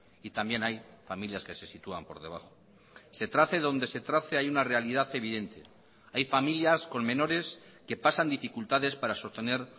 y también hay familias que se sitúan por debajo se trace donde se trace hay una realidad evidente hay familias con menores que pasan dificultades para sostener